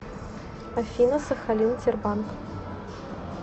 афина сахалин тербанк